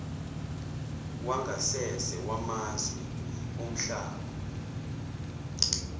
wangasese wamazwe omhlaba